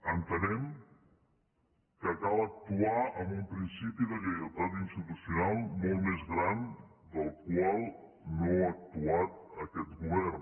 entenem que cal actuar amb un principi de lleialtat institucional molt més gran del qual no ha actuat aquest govern